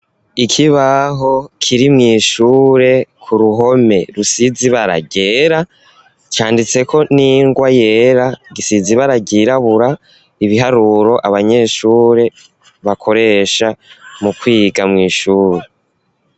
Ikibaho kiri mw'ishure ku ruhome rusize ibara ryera, canditseko n'ingwa yera, gisize ibara ryirabura, ibiharuro abanyeshuri bakoresha mu kwiga mu ishuri.